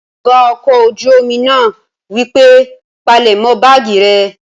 Ọ̀gá ọkọ̀ ojú-omi náà wípé, "palẹ̀mọ́ báàgì rẹ!"